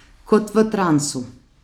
Kot v transu.